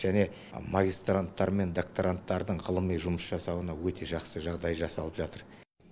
және магистранттар мен докторанттардың ғылыми жұмыс жасауына өте жақсы жағдай жасалып жатыр